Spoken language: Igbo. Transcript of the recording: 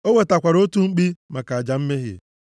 O wetakwara otu mkpi maka aja mmehie,